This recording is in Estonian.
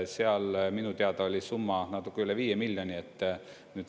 Seal minu teada oli summa natuke üle viie miljoni.